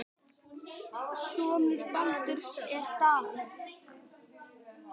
Sonur Baldurs er Davíð.